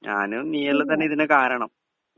speaker 2 ഞാനും നീയുമെല്ലാം തന്നെയാ ഇതിനൊക്കെ കാരണം